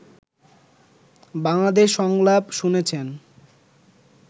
বাংলাদেশ সংলাপ শুনেছেন